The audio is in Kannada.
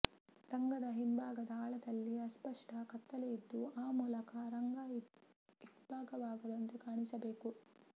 ರಂಗದ ಹಿಂಭಾಗದ ಆಳದಲ್ಲಿ ಅಸ್ಪಷ್ಟ ಕತ್ತಲೆಯಿದ್ದು ಆ ಮೂಲಕ ರಂಗ ಇಬ್ಭಾಗವಾಗದಂತೆ ಕಾಣಿಸಬೇಕು